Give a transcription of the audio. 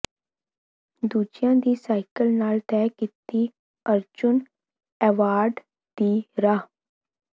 ਦੂਜਿਆਂ ਦੀ ਸਾਈਕਲ ਨਾਲ ਤੈਅ ਕੀਤੀ ਅਰਜੁਨ ਐਵਾਰਡ ਦੀ ਰਾਹ